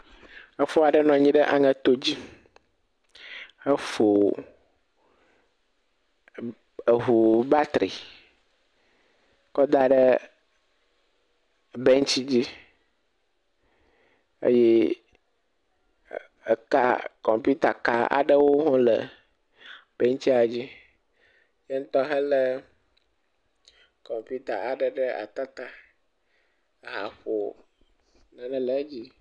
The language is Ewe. Efo aɖe nɔ anyi ɖe aŋeto dzi hefo e ŋu batri kɔ da ɖe bentsi dzi eye eka kɔmpitaka aɖewo hã le bentsia dzi. Yaŋutɔ hã le kɔmpita ɖe ata ta haƒo nane le edzi.